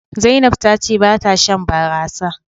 Zainab ta ce ba ta Shan barasa.